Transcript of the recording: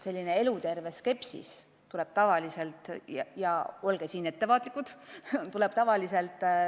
Selline eluterve skepsis tuleb tavaliselt – olge siin ettevaatlikud!